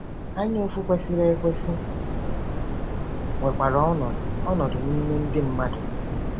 Anyaụfụ kwesịrị ekwesị nwekwara ọnọdụ ọnọdụ n’ime ndị mmadụ.